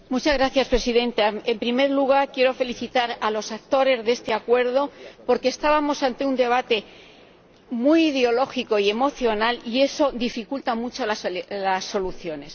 Señora Presidenta, en primer lugar, quiero felicitar a los actores de este acuerdo, porque estábamos ante un debate muy ideológico y emocional y eso dificulta mucho las soluciones.